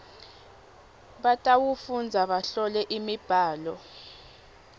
batawufundza bahlole imibhalo